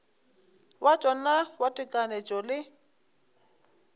wa tšona wa tekanyetšo le